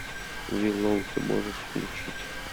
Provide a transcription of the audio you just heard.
виллоу ты можешь включить